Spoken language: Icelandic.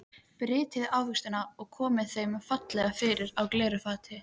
Brytjið ávextina og komið þeim fallega fyrir á glæru fati.